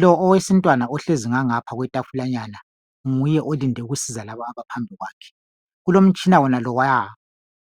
lo owesintwana ohlezi ngangapha kwetafulanyana nguye olinde ukusiza laba abaphambi kwakhe kulomtshina ona lowaya